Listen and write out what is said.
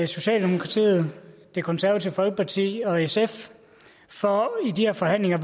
socialdemokratiet det konservative folkeparti og sf for i de her forhandlinger at